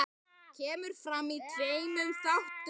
Kemur fram í tveimur þáttum.